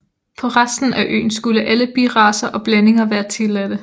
På resten af øen skulle alle biracer og blandinger være tilladte